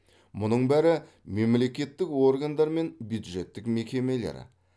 мұның бәрі мемлекеттік органдар мен бюджеттік мекемелер